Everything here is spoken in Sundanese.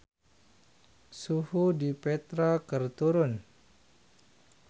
Suhu di Petra keur turun